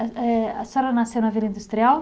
Eh, a senhora nasceu na Vila Industrial?